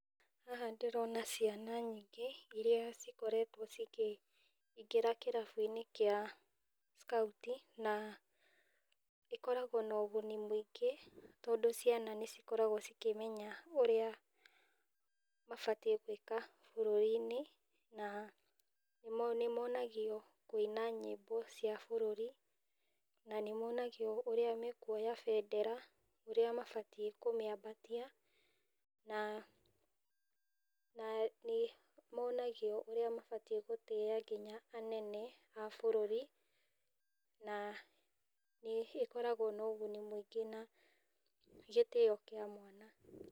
Haha ndĩrona ciana nyingĩ, iria cikoretwo cikĩingĩra kĩrabu-inĩ kĩa ckauti, na ĩkoragwo na ũguni mũingĩ tondũ ciana nĩ cikoragwo cikĩmenya ũrĩa mabatiĩ nĩ gwĩka bũrũri-inĩ, na nĩ monagio kuĩna nyimbo cia bũrũri, na nĩ monagio ũrĩa makuoya bendera, ũrĩa mabatiĩ kwambatia na nĩ monagio ũrĩa mabatiĩ gũtĩiya nginya anene a bũrũri, na nĩ ĩkoragwo na ũguni mũingĩ na gĩtio kĩa mwanya.